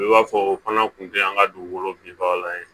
I b'a fɔ o fana kun tɛ an ka dugukolo bin bagalan ye